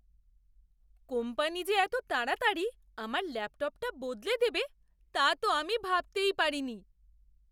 Company যে এত তাড়াতাড়ি আমার ল্যাপটপটা বদলে দেবে তা তো আমি ভাবতেই পারিনি!